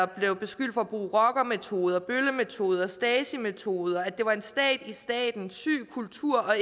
blev beskyldt for at bruge rockermetoder bøllemetoder stasi metoder at det var en stat i staten en syg kultur og